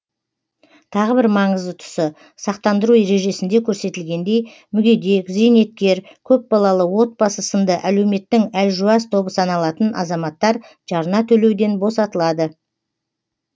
тағы бір маңызды тұсы сақтандыру ережесінде көрсетілгендей мүгедек зейнеткер көпбалалы отбасы сынды әлеуметтің әлжуаз тобы саналатын азаматтар жарна төлеуден босатылады